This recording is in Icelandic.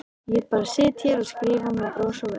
Ég bara sit hér og skrifa með bros á vör.